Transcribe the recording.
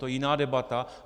To je jiná debata.